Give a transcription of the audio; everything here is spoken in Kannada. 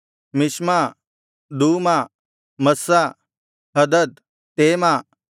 ಮಿಷ್ಮ ದೂಮಾ ಮಸ್ಸ ಹದದ್ ತೇಮ